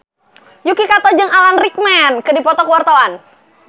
Yuki Kato jeung Alan Rickman keur dipoto ku wartawan